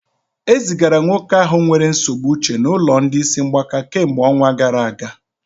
E zigara nwoke ahụ nwere nsogbu uche n'ụlọ ndị isi mgbaka kemgbe ọnwa gara aga